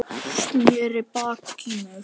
Sneri baki í mig.